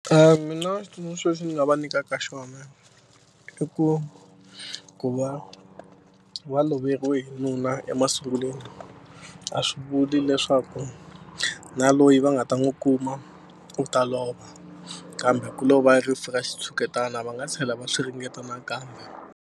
Mina xitsundzuxo lexi ni nga va nyikaka xona i ku ku va va loveriwe hi nuna emasungulweni a swi vuli leswaku na loyi va nga ta n'wu kuma u ta lova kambe ku lo va rifu ra xitshuketana va nga tlhela va swi ringeta nakambe.